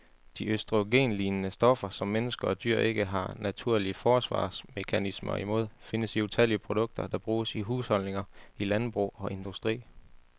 De østrogenlignende stoffer, som mennesker og dyr ikke har naturlige forsvarsmekanismer imod, findes i utallige produkter, der bruges i husholdninger, i landbrug og industri.